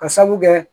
Ka sabu kɛ